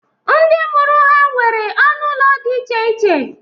Ndị mụrụ ha nwere ọnụ ụlọ dị iche iche